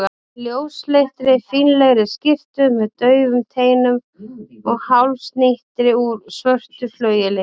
ljósleitri, fínlegri skyrtu með daufum teinum og hálsknýti úr svörtu flaueli.